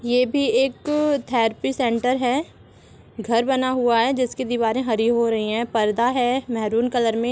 ये भी एक थेरेपी सेंटर है घर बना हुआ है जिसकी दिवारे हरी हो रही है पर्दा है मरून कलर में।